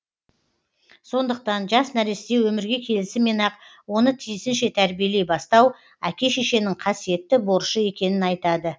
сондықтан жас нәресте өмірге келісімен ақ оны тиісінше тәрбиелей бастау әке шешенің қасиетті борышы екенін айтады